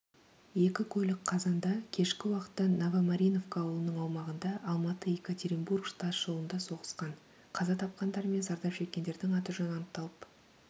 екі көлік қазанда кешкі уақыттановомариновка ауылының аумағында алматы-екатеринбург тасжолындасоғысқан қаза тапқандар мен зардап шеккендердің аты-жөні анықталып